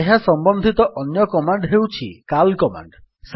ଏହା ସମ୍ବନ୍ଧିତ ଅନ୍ୟ କମାଣ୍ଡ୍ ହେଉଛି କାଲ୍ କମାଣ୍ଡ୍